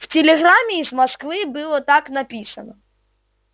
байерли снова повернулся к женщине которая все ещё внимательно разглядывала его